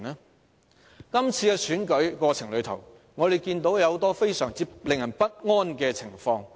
在今次的選舉過程中，我們看到很多非常令人不安的情況。